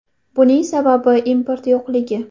Buning sababi, import yo‘qligi.